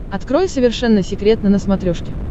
открой совершенно секретно на смотрешке